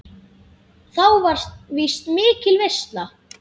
Þá var víst mikil veisla.